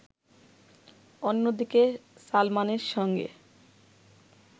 অন্যদিকে সালমানের সঙ্গে